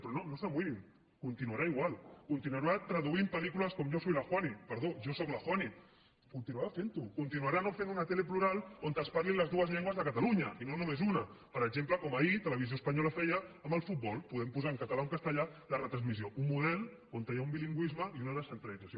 però no s’amoïnin continuarà igual continuarà traduint pel·lícules com yo soy la juani juani continuarà fent ho continuarà no fent una tele plural on es parlin les dues llengües de catalunya i no només una per exemple com ahir televisió espanyola feia amb el futbol podent posar en català o en castellà la retransmissió un model on hi ha un bilingüisme i una descentralització